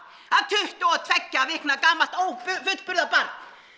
að tuttugu og tveggja vikna ófullburða barn